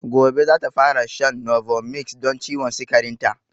Gobe zata fara shan novomix don ciwon sikarin ta